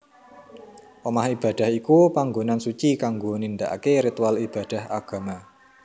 Omah Ibadah iku pangonan suci kanggo nindakaké ritual ibadah agama